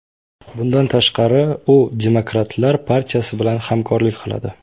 Bundan tashqari, u Demokratlar partiyasi bilan hamkorlik qiladi.